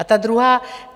A ta druhá.